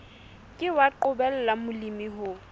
ke wa qobella molemi ho